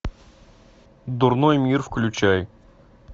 дурной мир включай